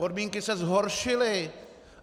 Podmínky se zhoršily!